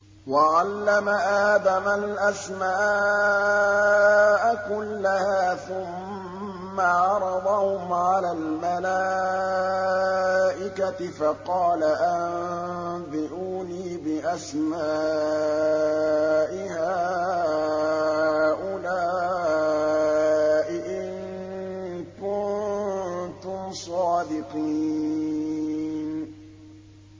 وَعَلَّمَ آدَمَ الْأَسْمَاءَ كُلَّهَا ثُمَّ عَرَضَهُمْ عَلَى الْمَلَائِكَةِ فَقَالَ أَنبِئُونِي بِأَسْمَاءِ هَٰؤُلَاءِ إِن كُنتُمْ صَادِقِينَ